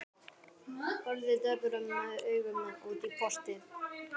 Horfði döprum augum út í portið.